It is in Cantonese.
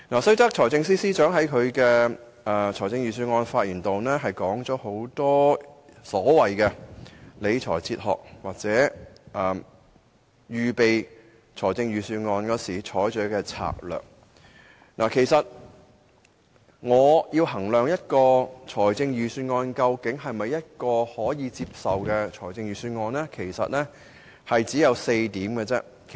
雖然財政司司長在預算案演辭中提出眾多理財哲學或在預備預算案時採取的策略，但當我要衡量一份預算案是否可以接受時，我只持4項準則。